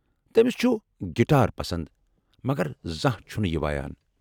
تمِس چُھ گِٹار پسند مگر زانٛہہ چُھنہٕ یہِ وایان۔